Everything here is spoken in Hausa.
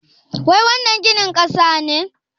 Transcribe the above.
Wai wannan gini ƙasa ne?